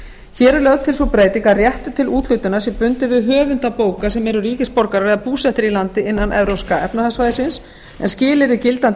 hér er lögð til sú breyting að réttur til úthlutunar sé bundinn við höfunda bóka sem eru ríkisborgarar eða búsettir í landi innan evrópska efnahagssvæðisins en skilyrði gildandi